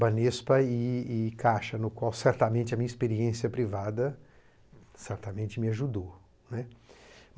Banespa e e Caixa, no qual certamente a minha experiência privada certamente me ajudou, né.